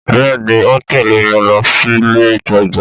Bẹ́ẹ̀ni o ń tẹ̀lẹ́ mi lọ sílé ìtajà